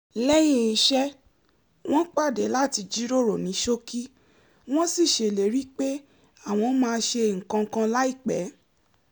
lẹ́yìn iṣẹ́ wọ́n pàdé láti jíròró ní ṣókí wọ́n sì ṣèlérí pé àwọn máa ṣe nǹkan kan láìpẹ́